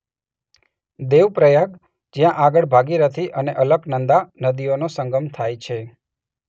દેવ પ્રયાગ જ્યાં આગળ ભાગીરથી અને અલકનંદા નદીઓનો સંગમ થાય છે.